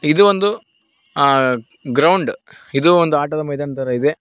ಇದು ಒಂದು ಆ ಗ್ರೌಂಡ್ ಇದು ಒಂದು ಆಟದ ಮೈದಾನ ತರ ಇದೆ.